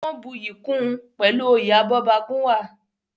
Wọ́n buyì kun pẹ̀lú oyè Abọ́bagúnwà.